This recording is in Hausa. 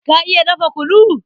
Ka iya dafa kunu?